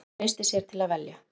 Hver treystir sér til að velja?